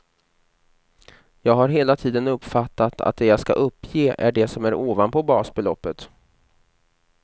Jag har hela tiden uppfattat att det jag ska uppge är det som är ovanpå basbeloppet.